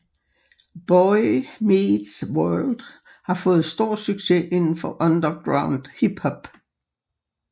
Boy Meets World har fået stor succes indenfor underground hiphop